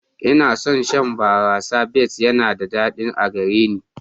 Ina son shan barasar best yana da daɗi a gare ni.